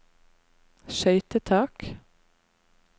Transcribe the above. skøytetak